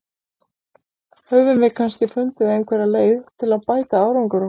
Höfum við kannski fundið einhverja leið til að bæta árangur okkar?